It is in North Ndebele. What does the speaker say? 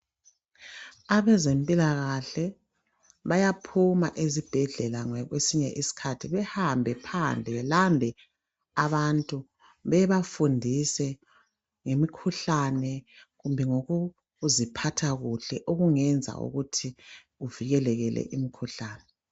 Abezempilakahle bayaphuma ezibhedlela ngokwesinye isikhathi behambe phandle belande abantu bebafundise ngemikhuhlane kumbe ngokuziphatha kuhle okungenza ukuthi kuvikelekele imikhuhlane.